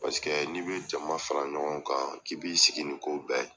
Paseke n'i bɛ jama fara ɲɔgɔn kan k'i b'i sigi ni ko bɛɛ ye.